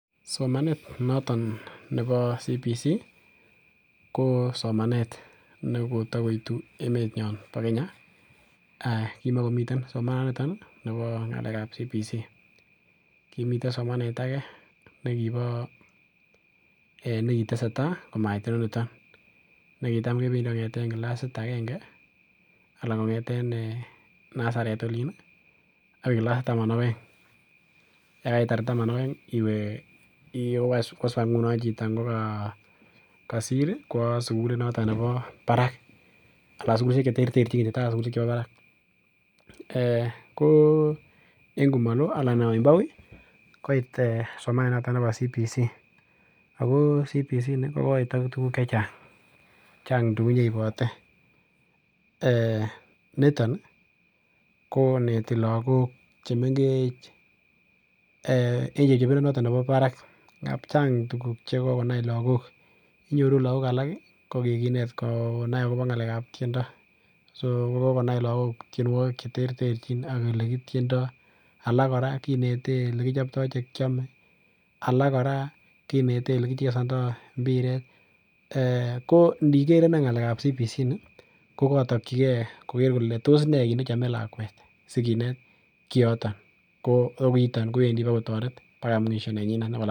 Somanet noton nebo CBC ko somanet nekotakoitu emenyon nebo Kenya. Kimakomi somanonito nebo ngalekab CBC. Kimiten somanet age nekiba, nekiteseta komait ineniton. Nekitam kepindi kongeten kilasit agenge anan kongete nasaret olin agoi kilasit taman ak oeng. Yekaitar taman ak aeng iwe, koswa ingunon chito ngoga, kasir kowa sugulit noto nebo barak anan sugulisiek cheterterchin en sugulisiek chemi barak. Ko en komalo koit ee somanet noto nebo CBC, ago CBC ini ko koit ak tuguk che chang. Chang tugun che ibote. Eeh! Niton koneti lagok chemengech, en chepchepindo noton nebo barak ngab chang tuguk che kokonai lagok. Inyoru lagok alak ko kikinet konai agobo ngalekab tiendo. Songobokonai lagok tienwogik cheterchin ak olekitiendo. Alak kora kinete olekichopto chekiame, alak kora kinete olekichesondo mbiret. Kondiger innei ngalekab CBC ini, ko katokyike koger kole tos ne nechome lakwet sikinet kioto. Ko kiiton kowendi bokotoret bakai mwisho nenyinet.